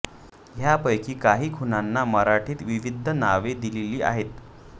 ह्यांपैकी काही खुणांना मराठीत विविध नावे दिलेली आहेत